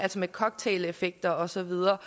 altså med cocktaileffekter og så videre